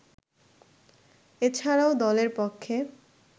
এছাড়াও দলের পক্ষে